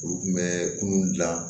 Olu kun bɛ kunun gilan